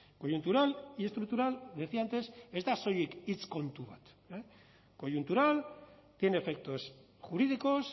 coyuntural y estructural decía antes ez da soilik hitz kontu bat coyuntural tiene efectos jurídicos